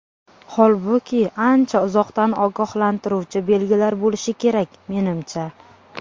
Holbuki, ancha uzoqdan ogohlantiruvchi belgilar bo‘lishi kerak, menimcha.